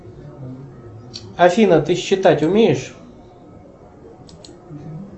афина ты считать умеешь